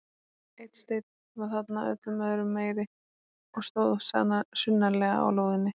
Einn steinn var þarna öllum öðrum meiri og stóð sunnarlega á lóðinni.